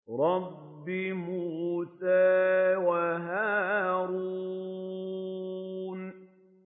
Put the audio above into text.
رَبِّ مُوسَىٰ وَهَارُونَ